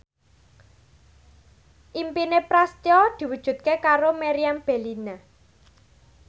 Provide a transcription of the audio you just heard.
impine Prasetyo diwujudke karo Meriam Bellina